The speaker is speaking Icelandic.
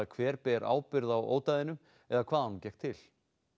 hver ber ábyrgð á ódæðinu eða hvað honum gekk til